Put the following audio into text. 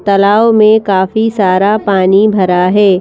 तालाव में काफी सारा पानी भरा है।